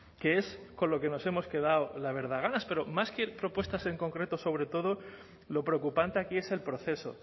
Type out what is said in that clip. que es con lo que nos hemos quedado la verdad ganas pero más que propuestas en concreto sobre todo lo preocupante aquí es el proceso